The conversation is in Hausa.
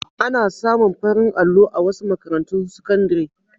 Ana samu farin allo a wasu makarantun sakandare.